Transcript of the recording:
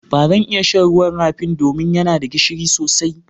Ba zan iya shan ruwan rafin do min ya na da gishiri sosai.